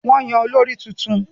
Wọ́n yàn olórí tuntun